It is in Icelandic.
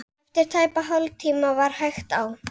Og flugurnar skulu fá að suða yfir henni annan söng.